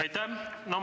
Aitäh!